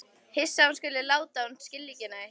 Hissa að hún skuli láta sem hún skilji ekki neitt.